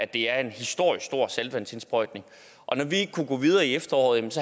det er en historisk stor saltvandsindsprøjtning og når vi ikke kunne gå videre i efteråret